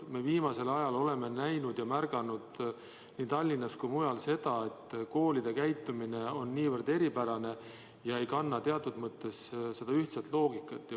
Me oleme viimasel ajal näinud nii Tallinnas kui mujal seda, et koolide käitumine võib olla väga eripärane, see pole kantud ühtsest loogikast.